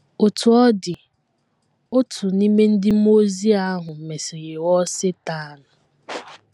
Otú ọ dị, otu n’ime ndị mmụọ ozi ahụ mesịrị ghọọ Setan.